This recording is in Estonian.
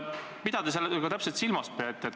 Mida te sellega täpselt silmas peate?